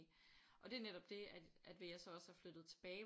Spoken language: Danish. Og det er netop det at at ved at jeg så også er flyttet tilbage